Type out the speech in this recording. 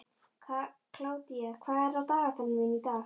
Kládía, hvað er á dagatalinu mínu í dag?